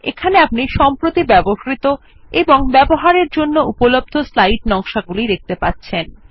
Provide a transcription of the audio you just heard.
এখানে আপনি recently used অর্থাৎ সম্প্রতি ব্যবহৃত এবং অ্যাভেইলেবল ফোর উসে অর্থাৎ ব্যবহারের জন্য উপলব্ধ স্লাইড নকশাগুলি দেখতে পাবেন